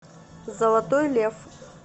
золотой лев